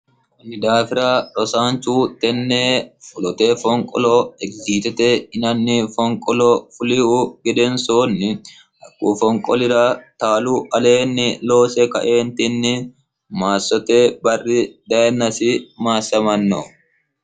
kanni daafira rosaanchu tenne fulote fonqolo egiziitete inanni fonqolo fulihu gedensoonni haqquu fonqolira taalu aleenni loose kaeentinni maassote barri dhayinnasi maassamanno